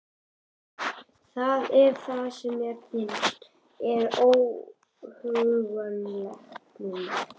Það er það sem mér finnst svo óhugnanlegt núna.